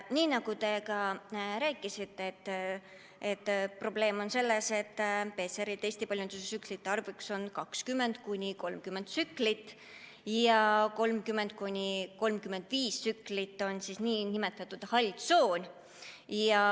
Nii nagu te ka rääkisite, probleem on selles, et PCR‑testi paljundustsükli arv on 20–30 tsüklit ja 30–35 tsüklit on nn hall tsoon.